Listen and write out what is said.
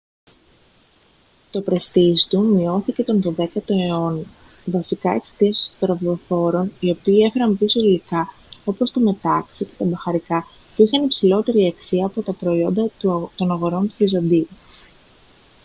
το πρεστίζ του μειώθηκε τον δωδέκατο αιώνα βασικά εξαιτίας των σταυροφόρων οι οποίοι έφεραν πίσω υλικά όπως το μετάξι και τα μπαχαρικά που είχαν υψηλότερη αξία από τα προϊόντα των αγορών του βυζαντίου